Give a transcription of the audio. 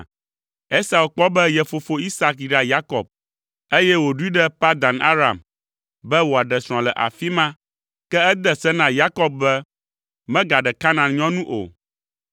Esau kpɔ be ye fofo Isak yra Yakob, eye wòɖoe ɖe Padan Aram be wòaɖe srɔ̃ le afi ma, ke ede se na Yakob be, “Megaɖe Kanaan nyɔnu o.”